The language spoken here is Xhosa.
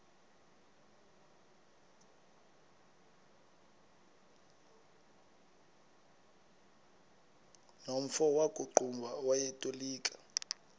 nomfo wakuqumbu owayetolika